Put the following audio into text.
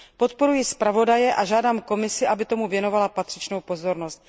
Podporuji zpravodaje a žádám Komisi, aby tomu věnovala patřičnou pozornost.